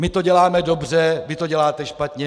My to děláme dobře, vy to děláte špatně.